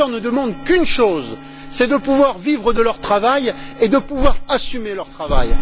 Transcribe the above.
Les pêcheurs ne demandent qu'une chose, c'est de pouvoir vivre de leur travail et de pouvoir assumer leur travail.